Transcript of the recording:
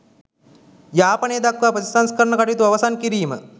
යාපනය දක්වා ප්‍රතිසංස්කරණ කටයුතු අවසන් කිරීම